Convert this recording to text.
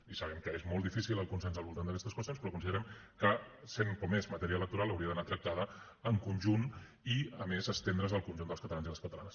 i sabem que és molt difícil el consens al voltant d’aquestes qüestions considerem que sent com és matèria electoral hauria d’anar tractada en conjunt i a més estendre’s al conjunt dels catalans i les catalanes